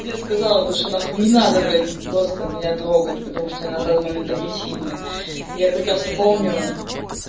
тебе сказала то что на хуй не надо блядь просто меня трогать потому что я на данный момент топлю сильно я прекрасно помню